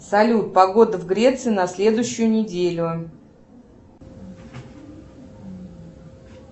салют погода в греции на следующую неделю